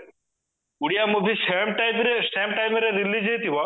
Odia movie same timeରେ same timeରେ release ହେଇଥିବ